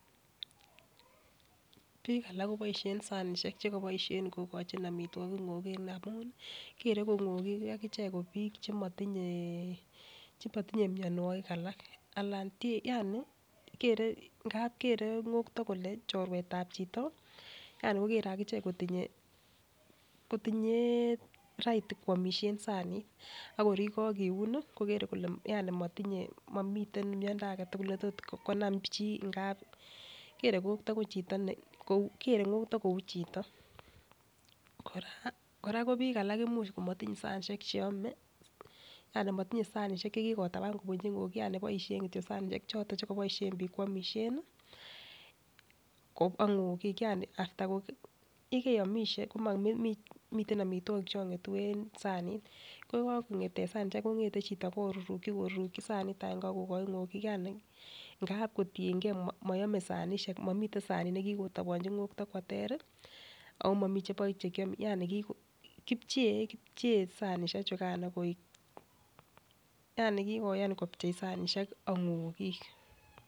Bik alak koboishen sanishek chekoboishen kokochi omitwokik ngokik amun kere ko ngokik akichek kobik chemotinye chemotinyee mionwokik alak anan Ker yani kere ngepit kere ngokto kole chorsetab chito yaani kokere akichek kotinye kotinye right kwomishe sanitak ak kor yekokiuni nii kokere kole yani motinyee momiten miondo aketukul netot konam chii ngap ikere ngokto ko chito ne kere ngokto kou chito. Koraa Koraa ko bik alak koimuch komotinye sanishek che home yani motinyee sanishek chekikotapan kobunchi ngokik yani boishet kityok sanishek choton chekoboishen bik kwomisheni ko kongokik yani after ko yekeiomishe komiten Omitwokik chon ngetu en sanit ko yekakonget en sanishek kongete chito koruruki koruruki sanit agenge ak kokoi ngokik yani ngap kotiyengee moyome sanishek momiten sanit nekikitoponchi ngokto kwo ter omomi chebo chekiome yani kipchee kipchee sanishek chukan koik yani kikoyan kipchei sanishek ak ngokik.